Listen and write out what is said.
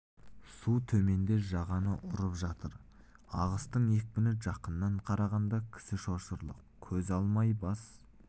су төменде жағаны ұрып жатыр ағыстың екпіні жақыннан қарағанда кісі шошырлық көз алмай бас